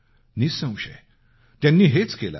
निःसंशय त्यांनी हेच केलं आहे